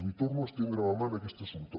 li torno a estendre la mà en aquest assumpte